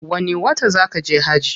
Wani wata zaa kaje hajji?